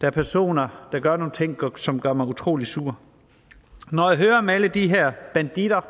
der er personer der gør nogle ting som gør mig utrolig sur når jeg hører om alle de her banditter